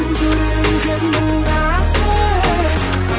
жүрегің сенің нәзік